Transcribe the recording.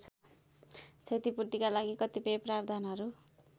क्षतिपूर्तिका कतिपय प्रावधानहरू